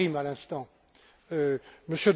Karim à l'instant, M.